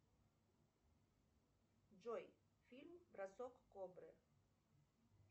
джой фильм бросок кобры